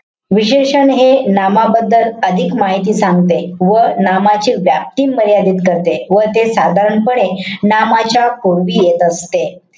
विशेषण हे नामाबद्दल अधिक माहिती सांगते. व नामाची व्याप्ती मर्यादित करते. व ते साधारणपणे नामाच्या पूर्वी येत असते.